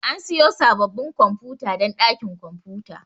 Ana siyo sabbabin kwamfuta don dakin kwamfuta.